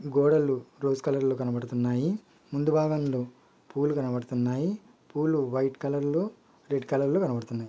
గోడలు rose colour లో కనబడుతున్నాయి. ముందు భాగంలో పూలు కనపడుతున్నాయి పూలు వైట్ కలర్ లో రెడ్ కలర్ లో కనబడుతున్నాయి.